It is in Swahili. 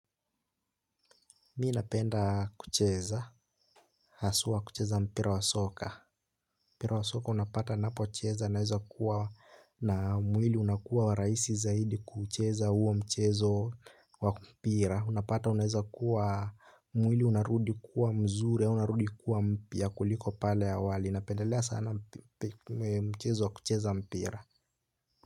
Mimi napenda kucheza haswa kucheza mpira wa soka mpira wa soka unapata ninapocheza naweza kuwa na mwili unakuwa rahisi sana kucheza huo mchezo wa mpira. Unapata unaweza kuwa mwili unarudi kuwa mzuri, unarudi kuwa mpya kuliko pale awali. Napendelea sana mchezo wa kucheza mpira.